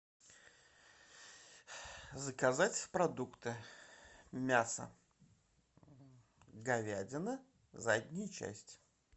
заказать продукты мясо говядина задняя часть